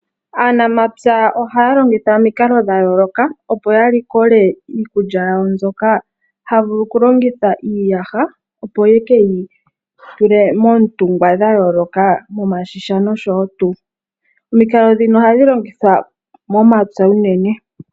Aanamapya ohaya longitha omikalo dhayooloka opo ya likole iikulya yawo, mbyoka haya vulu okulongitha iiyaha opo yekeyi tule moontungwa dhayooloka, momashisha nosho woo tuu. Omikalo dhono ohadhi longithwa momapya unene.